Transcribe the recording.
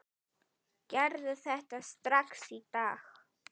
Gerðu þetta strax í dag!